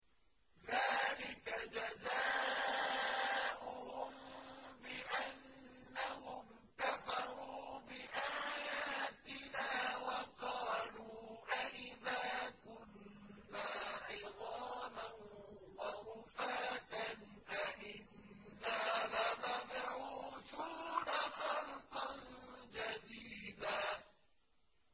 ذَٰلِكَ جَزَاؤُهُم بِأَنَّهُمْ كَفَرُوا بِآيَاتِنَا وَقَالُوا أَإِذَا كُنَّا عِظَامًا وَرُفَاتًا أَإِنَّا لَمَبْعُوثُونَ خَلْقًا جَدِيدًا